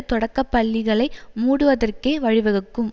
தொடக்கப்பள்ளிகளை மூடுவதற்கே வழிவகுக்கும்